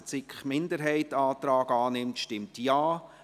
Wer den Antrag von SiK-Mehrheit und Regierung annimmt, stimmt Nein.